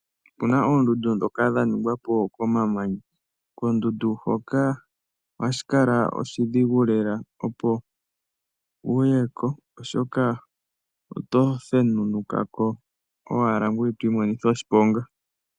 Ope na ooondundu ndhoka dha ningwapo komamanya. Koondundu hoka ohashi kala oshidhigu lela opo uye ko, oshoka oto thenunuka owala ngoye to imonitha oshiponga .